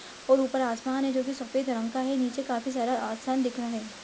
और ऊपर आसमान है जो कि सफ़ेद रंग का है। नीचे काफी सारा दिख रहा है।